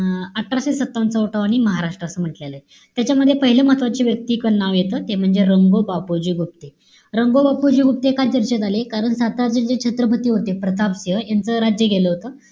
अं अठराशे सत्तावन्न चा उठाव आणि महाराष्ट्र असं म्हण्टलेलं आहे. त्याच्यामध्ये पाहिलं महत्वाची व्यक्ती नाव येत. ते म्हणजे, रंगो बापुजी गुप्ते. रंगो बापुजी गुप्ते का चर्चेत आले? कारण सातारा जिल्ह्यात छत्रपती होते, प्रताप सिंह. यांचं राज्य गेलं होतं.